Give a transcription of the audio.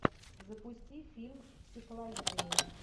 запусти фильм психологини